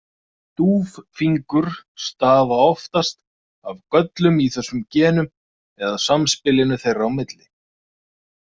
Stúffingur stafa oftast af göllum í þessum genum eða samspilinu þeirra á milli.